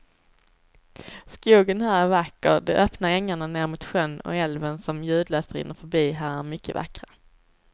Skogen här är vacker, de öppna ängarna ner mot sjön och älven som ljudlöst rinner förbi här är mycket vackra.